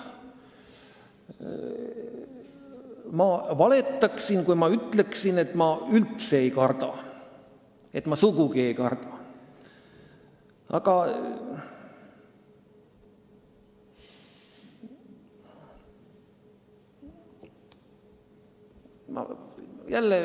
Ma valetaksin, kui ma ütleksin, et ma üldse seda ei karda.